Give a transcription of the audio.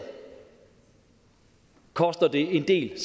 koster det en del